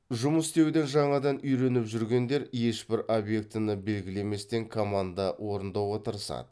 жұмыс істеуді жаңадан үйреніп жүргендер ешбір обьектіні белгілеместен команда орындауға тырысады